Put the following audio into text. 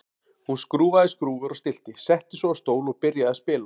Hún skrúfaði skrúfur og stillti, settist svo á stól og byrjaði að spila.